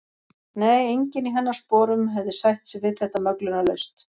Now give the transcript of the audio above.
Nei, enginn í hennar sporum hefði sætt sig við þetta möglunarlaust.